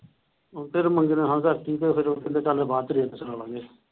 ਫਿਰ ਮੁੰਡੇ ਨੇ ਹਾਂ ਕਰਤੀ ਤੇ ਫਿਰ ਉਹ ਕਹਿੰਦੇ ਚੱਲ ਬਾਅਦ ਚ ਚਲਾਲਾਂਗੇ ।